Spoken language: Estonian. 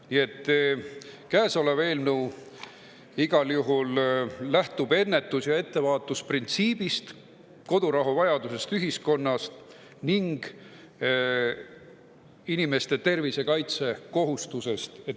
Nii et käesolev eelnõu lähtub ennetus- ja ettevaatusprintsiibist, kodurahuvajadusest ühiskonnas ning inimeste tervise kaitse kohustusest.